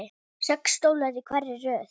Sex stólar í hverri röð.